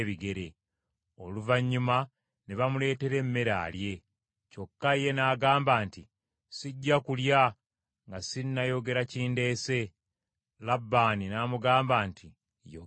Oluvannyuma ne bamuleetera emmere alye. Kyokka ye n’agamba nti, “Sijja kulya nga sinnayogera kindeese.” Labbaani n’amugamba nti, “Yogera.”